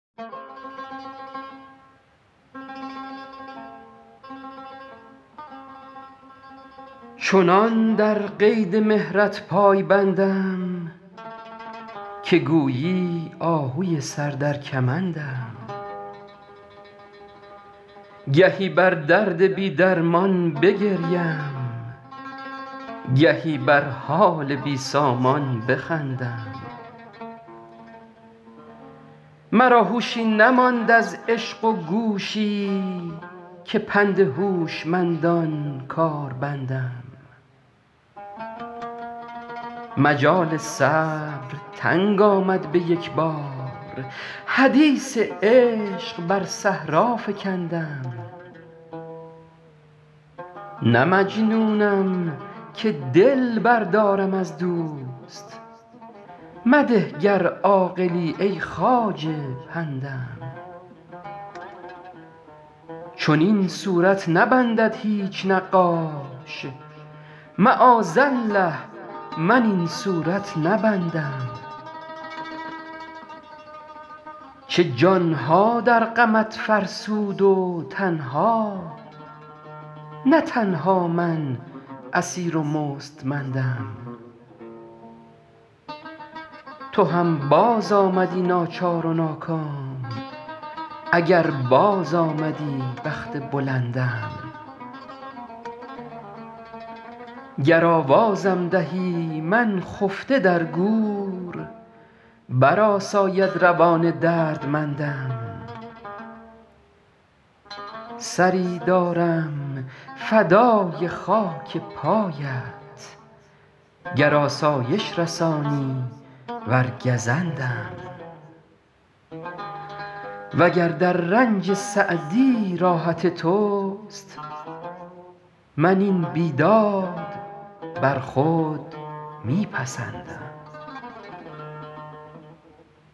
چنان در قید مهرت پای بندم که گویی آهوی سر در کمندم گهی بر درد بی درمان بگریم گهی بر حال بی سامان بخندم مرا هوشی نماند از عشق و گوشی که پند هوشمندان کار بندم مجال صبر تنگ آمد به یک بار حدیث عشق بر صحرا فکندم نه مجنونم که دل بردارم از دوست مده گر عاقلی ای خواجه پندم چنین صورت نبندد هیچ نقاش معاذالله من این صورت نبندم چه جان ها در غمت فرسود و تن ها نه تنها من اسیر و مستمندم تو هم بازآمدی ناچار و ناکام اگر بازآمدی بخت بلندم گر آوازم دهی من خفته در گور برآساید روان دردمندم سری دارم فدای خاک پایت گر آسایش رسانی ور گزندم و گر در رنج سعدی راحت توست من این بیداد بر خود می پسندم